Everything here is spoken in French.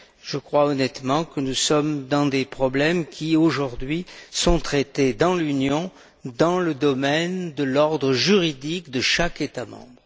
Je crois honnêtement que nous sommes confrontés à des problèmes qui, aujourd'hui, sont traités dans l'Union, dans le domaine de l'ordre juridique de chaque État membre.